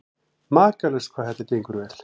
Makalaust hvað þetta gengur vel.